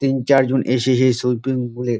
তিন চার জন এসেসে সুইপ্রিম পুল -এ।